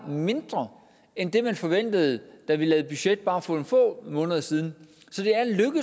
mindre end det man forventede da vi lavede budget for bare nogle få måneder siden